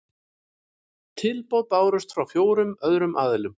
Tilboð bárust frá fjórum öðrum aðilum